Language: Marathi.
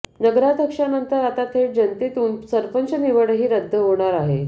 नगराध्यक्षानंतर आता थेट जनतेतून सरपंच निवडही रद्द होणार आहे